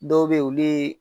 Dɔw be yen, olu ye